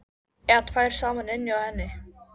Eða tvær saman inni hjá henni.